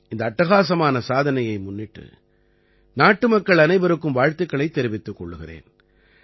இந்த அட்டகாசமான சாதனையை முன்னிட்டு நாட்டுமக்கள் அனைவருக்கும் வாழ்த்துக்களைத் தெரிவித்துக் கொள்கிறேன்